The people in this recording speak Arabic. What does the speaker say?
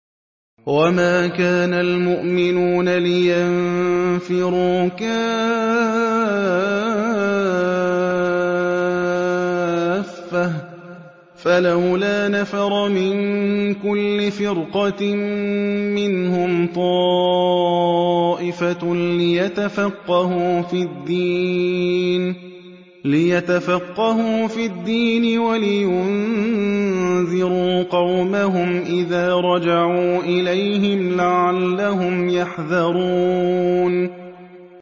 ۞ وَمَا كَانَ الْمُؤْمِنُونَ لِيَنفِرُوا كَافَّةً ۚ فَلَوْلَا نَفَرَ مِن كُلِّ فِرْقَةٍ مِّنْهُمْ طَائِفَةٌ لِّيَتَفَقَّهُوا فِي الدِّينِ وَلِيُنذِرُوا قَوْمَهُمْ إِذَا رَجَعُوا إِلَيْهِمْ لَعَلَّهُمْ يَحْذَرُونَ